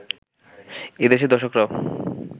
এদেশের দর্শকরাও